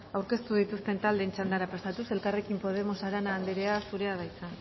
aurkeztu dituzten taldeen txandara pasatuz elkarrekin podemos arana anderea zurea da hitza